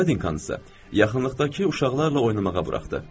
Nadinkansa yaxınlıqdakı uşaqlarla oynamağa buraxdı.